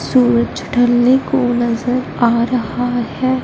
सूरज ढलने को नजर आ रहा है।